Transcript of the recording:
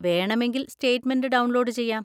വേണമെങ്കിൽ statement download ചെയ്യാം.